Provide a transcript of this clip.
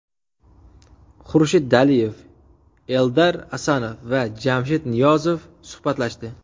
Xurshid Daliyev, Eldar Asanov va Jamshid Niyozov suhbatlashdi.